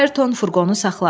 Ayrton furqonu saxladı.